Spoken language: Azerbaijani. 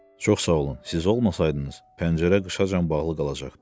Çox sağ olun, siz olmasaydınız, pəncərə qışacan bağlı qalacaqdı.